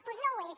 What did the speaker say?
doncs no ho és